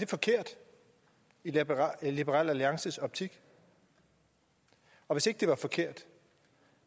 forkert i liberal liberal alliances optik og hvis ikke det var forkert